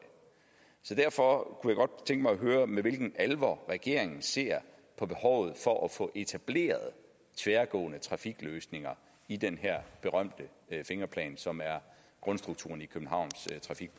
derfor kunne jeg godt tænke mig at høre med hvilken alvor regeringen ser på behovet for at få etableret tværgående trafikløsninger i den her berømte fingerplan som er grundstrukturen i